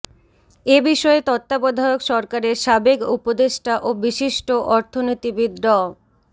এ বিষয়ে তত্ত্বাবধায়ক সরকারের সাবেক উপদেষ্টা ও বিশিষ্ট অর্থনীতিবিদ ড